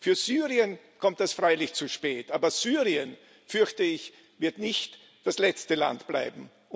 Für Syrien kommt das freilich zu spät, aber Syrien, fürchte ich, wird nicht das letzte Land bleiben.